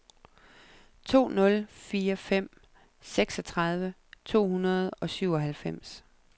to nul fire fem seksogtredive to hundrede og syvoghalvfems